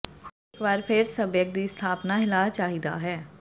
cream ਇਕ ਵਾਰ ਫਿਰ ਸੱਭਿਅਕ ਦੀ ਸਥਾਪਨਾ ਹਿਲਾ ਚਾਹੀਦਾ ਹੈ